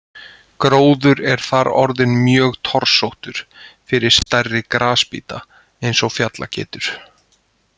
Gróður er þar orðinn mjög torsóttur fyrir stærri grasbíta eins og fjallageitur.